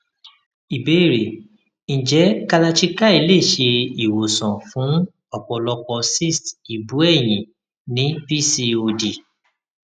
ìbéèrè nje kalarchikai le se iwosan fun ọpọlopo cyst ibu eyin ni pcod